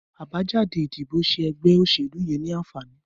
Abàjàdé idibó ṣé ẹgbẹ óṣélú yèn ni ànfàní